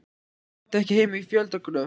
Hún átti ekki heima í fjöldagröf.